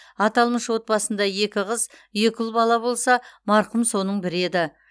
аталмыш отбасында екі қыз екі ұл бала болса марқұм соның бірі еді